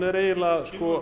er eiginlega